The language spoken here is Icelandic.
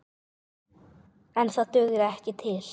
En það dugði ekki til.